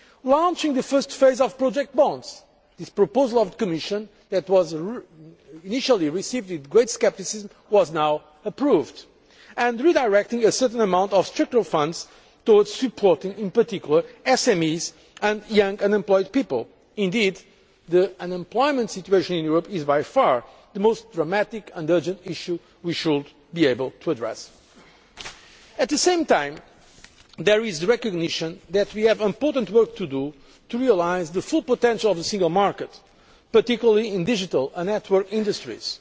launching the first phase of project bonds this Commission proposal that was initially received with great scepticism has now been approved and redirecting a certain amount of Structural Funds towards supporting in particular SMEs and young unemployed people. Indeed the unemployment situation in Europe is by far the most worrying and urgent issue we should be able to address. At the same time, there is the recognition that we have important work to do to realise the full potential of the Single Market, particularly in digital and network industries.